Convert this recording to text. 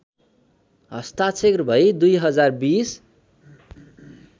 हस्ताक्षर भई २०२०